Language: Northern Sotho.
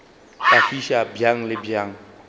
ka fiša bjang le bjang